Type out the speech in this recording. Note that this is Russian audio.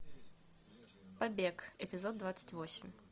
побег эпизод двадцать восемь